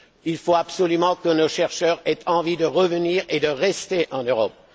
Il faut absolument que nos chercheurs aient envie de revenir et de rester en Europe.